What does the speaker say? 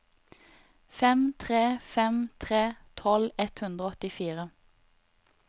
fem tre fem tre tolv ett hundre og åttifire